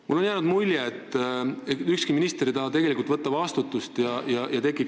Mulle on jäänud mulje, et ükski minister ei taha tegelikult vastutada.